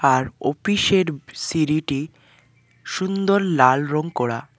আর office -এর সিঁড়িটি সুন্দর লাল রং করা।